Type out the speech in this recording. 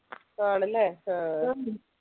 ആണല്ലേ ആഹ്